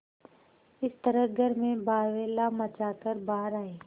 इस तरह घर में बावैला मचा कर बाहर आये